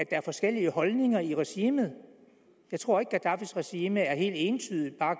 er forskellige holdninger i regimet jeg tror ikke gaddafis regime helt entydigt bare